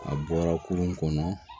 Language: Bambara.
A bɔra kurun kɔnɔ